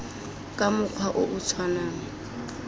ka mokgwa o o tshwanang